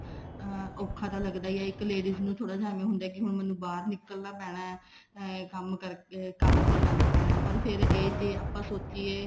ਹਾਂ ਔਖਾ ਤਾਂ ਲੱਗਦਾ ਹੀ ਹੈ ਇੱਕ ladies ਨੂੰ ਥੋੜਾ ਜਾ ਏਵੇਂ ਹੁੰਦਾ ਵੀ ਬਾਹਰ ਨਿੱਕਲਣਾ ਪੈਣਾ ਏਂ ਕੰਮ ਕਰਕੇ ਕੰਮ ਤੇ ਜਾਣਾ ਪਰ ਫ਼ੇਰ ਜੇ ਆਪਾਂ ਸੋਚੀਏ